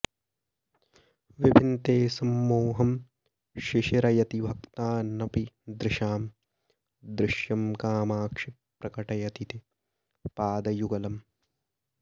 विभिन्ते संमोहं शिशिरयति भक्तानपि दृशाम् अदृश्यं कामाक्षि प्रकटयति ते पादयुगलम्